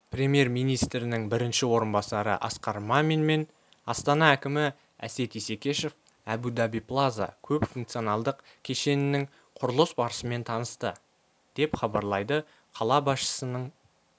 премьер-министрінің бірінші орынбасары асқар мамин мен астана әкімі әсет исекешев әбу-даби плаза көпфункционалдық кешенінің құрылыс барысымен танысты деп хабарлайды қала басшысының